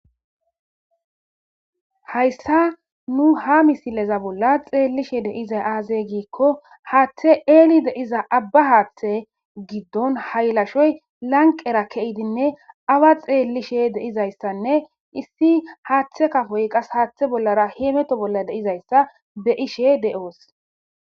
hayssa nu ha misileza bolla xeellishe deizay aazey giikko haaththe eeli de'iza abba haaththe giddon haylashoy lanqera keidinne awa xeellishe deizayssanne issi haaththe kafoy qas haaththe bollara heemeto bolla deizayssa be'ishe de'oos